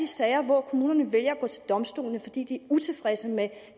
sager hvor kommunerne vælger at gå til domstolene fordi de utilfredse med